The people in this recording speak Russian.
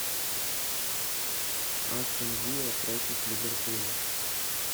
астон вилла против ливерпуля